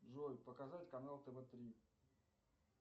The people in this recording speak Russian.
джой показать канал тв три